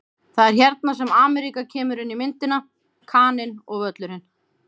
Það er hérna sem Ameríka kemur inn í myndina: Kaninn og Völlurinn.